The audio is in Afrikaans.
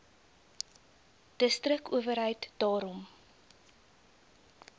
distrik owerheid daarom